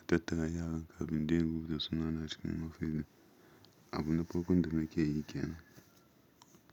a tattara yaran kafin dai in rubuta sunana cikin ofis ɗin. Abun na farko da nake yi kenan.